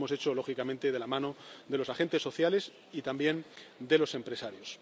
Y eso lo hemos hecho, lógicamente, de la mano de los agentes sociales y también de los empresarios.